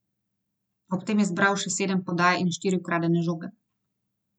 Ob tem je zbral še sedem podaj in štiri ukradene žoge.